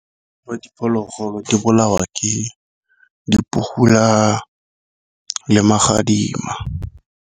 diphologolo di bolawa ke le magadima.